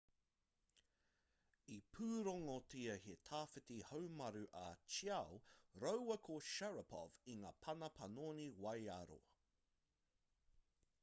i pūrongotia he tawhiti haumaru a chiao rāua ko sharipov i ngā pana panoni waiaro